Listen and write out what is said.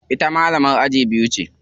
Ita malamar aji biyu ce.